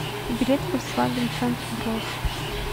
билет фольксваген центр гросс